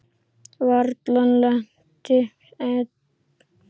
Varla lent enn.